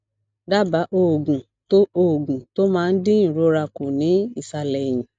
daba oògùn tó oògùn tó máa ń dín ìrora ku ni isale eyin